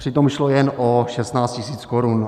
Přitom šlo jen o 16 tisíc korun.